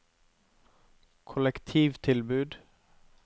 kollektivtilbud